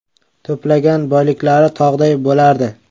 To‘plagan boyliklari tog‘day bo‘lardi.